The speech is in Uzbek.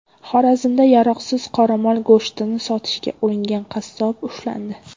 Xorazmda yaroqsiz qoramol go‘shtini sotishga uringan qassob ushlandi.